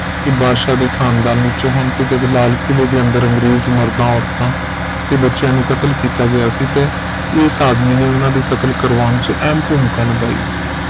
ਇਹ ਬਾਦਸ਼ਾਹ ਦੇ ਖਾਨਦਾਨ ਵਿੱਚੋ ਹਨ ਤੇ ਜਦ ਲਾਲ ਕਿਲੇ ਦੇ ਅੰਦਰ ਅੰਗਰੇਜ਼ ਮਾਰਦਾ ਔਰਤਾਂਤੇ ਬੱਚਿਆਂ ਨੂੰ ਕਤਲ ਕੀਤਾ ਗਿਆ ਸੀ ਤੇ ਇਸ ਆਦਮੀ ਨੇ ਉਹਨਾਂ ਦੇ ਕਤਲ ਕਰਵਾਉਣ ਚ ਅਹਿਮ ਭੂਮਿਕਾ ਨਿਭਾਈ ਸੀ